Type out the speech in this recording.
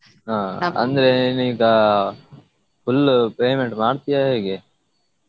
ಹಾ ಅಂದ್ರೆ ನೀನ್ ಈಗಾ full payment ಮಾಡ್ತಿಯಾ ಹೇಗೆ?